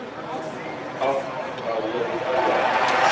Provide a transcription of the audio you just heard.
af elke keer